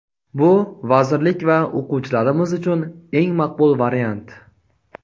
Bu vazirlik va o‘quvchilarimiz uchun eng maqbul variant.